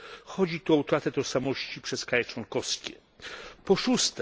Chodzi tu o utratę tożsamości przez kraje członkowskie. 6.